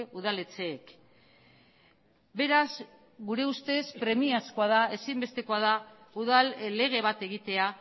udaletxeek beraz gure ustez premiazkoa da ezinbestekoa da udal lege bat egitea